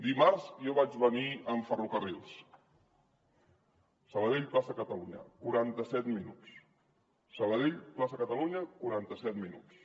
dimarts jo vaig venir amb ferrocarrils sabadell plaça catalunya quaranta set minuts sabadell plaça catalunya quaranta set minuts